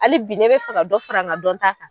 Hali bi ne bɛ fɛ ka dɔ fara nka dɔn ta kan.